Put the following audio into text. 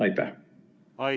Aitäh!